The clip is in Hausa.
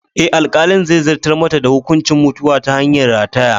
Eh, alkalin zai zartar mata da hukuncin mutuwa ta hanyar rataye.